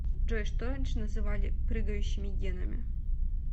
джой что раньше называли прыгающими генами